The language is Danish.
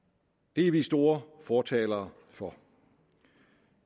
det er vi store fortalere for